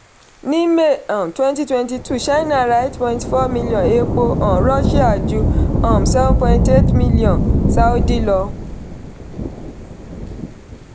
ní may um twenty twenty two china ra eight point four million epo um russia ju um seven point eight million sáúdí lọ.